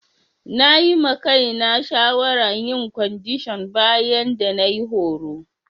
Na yi ma Kai na shawara yin kwandishan bayan da na yi horo.